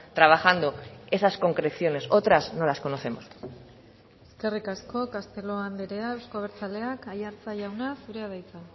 trabajando esas concreciones otras no las conocemos eskerrik asko castelo andrea euzko abertzaleak aiartza jauna zurea da hitza